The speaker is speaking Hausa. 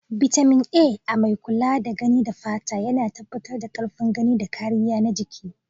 Bitamin A, mai kula da gani da fata, yana tabbatar da karfin gani da kariya na jiki.